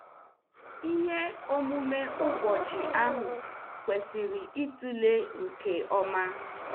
Ihe omume ụbọchị ahụ kwesịrị ịtụle nke ọma.